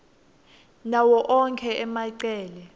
nawo onkhe emacele